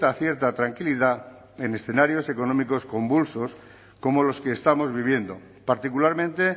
cierta tranquilidad en escenarios económicos convulsos como los que estamos viviendo particularmente